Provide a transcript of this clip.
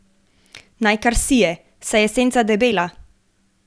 Naj kar sije, saj je senca debela.